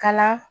Kala